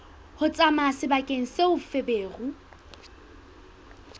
ho tsamaya sebakeng seo feberu